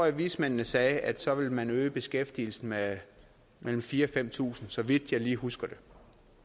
at vismændene sagde at så ville man øge beskæftigelsen med mellem fire tusind og fem tusind så vidt jeg lige husker det